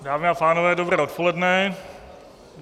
Dámy a pánové, dobré odpoledne.